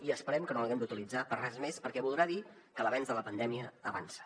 i esperem que no l’haguem d’utilitzar per res més perquè voldrà dir que l’avenç en la pandèmia avança